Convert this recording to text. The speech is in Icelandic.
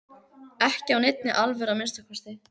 Ekki af neinni alvöru að minnsta kosti.